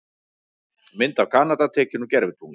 Mynd af Kanada tekin úr gervitungli.